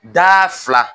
Da fila